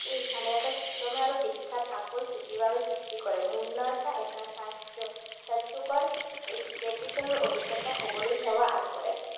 এই স্থানে এটা চিত্ৰময় আৰু বিখ্যাত ছুটিৰ বাবে সৃষ্টি কৰে। মুন্নাৰ এটা এটা স্বাস্থ্যকৰ vacation ৰ অভিজ্ঞতা হবলৈ সেৱা আগবঢ়ায়।